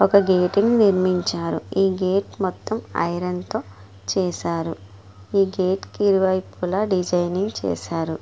ఒక గేట్ ని నిర్మించారు .ఈ గేట్ మొత్తం ఐరన్ తో చేసారు. ఈ గేట్ కి ఇరువైపులా డిజైనింగ్ చేసారు.